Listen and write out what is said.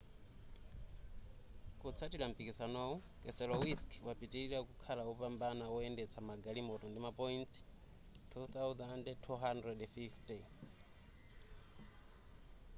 kutsatira mpikisanowu keselowski wapitilira kukhala wopambana woyendetsa magalimoto ndi ma point 2,250